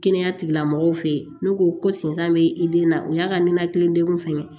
Kɛnɛya tigilamɔgɔw fɛ yen n'u ko ko senfa bɛ i den na o y'a ka ninakili degun fɛngɛ ye